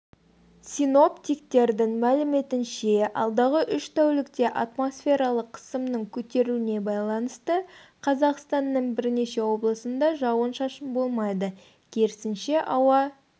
синоптиктердің мәліметінше алдағы үш тәулікте атмосфералық қысымның көтерілуіне байланысты қазақстанның бірнеше облысында жауын-шашын болмайды керісінше ауа